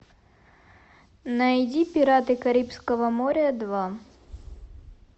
найди пираты карибского моря два